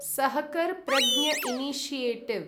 Sahakar Pragya initiative